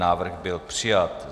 Návrh byl přijat.